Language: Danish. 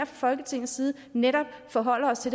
folketingets side netop forholder os til